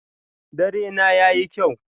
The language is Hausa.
Dare na yayi kyau.